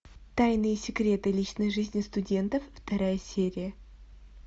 тайные секреты личной жизни студентов вторая серия